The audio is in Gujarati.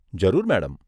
જરૂર, મેડમ.